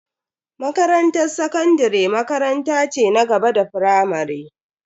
Makarantar sakandare makaranta ce na gaba da firamare.